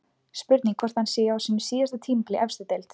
Spurning hvort hann sé á sínu síðasta tímabili í efstu deild?